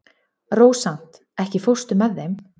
Rósant, ekki fórstu með þeim?